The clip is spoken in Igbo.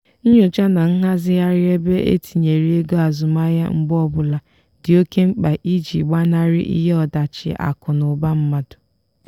nyocha na nghazigharị ebe etinyere ego azụmahịa mgbe ọbụla dị oke mkpa iji gbanarị ihe ọdachi akụ na ụba mmadụ.